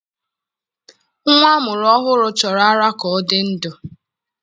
Nwa a mụrụ ọhụrụ chọrọ ara ka ọ dị ndụ